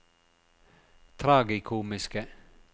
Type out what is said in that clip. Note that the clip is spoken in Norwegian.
tragikomiske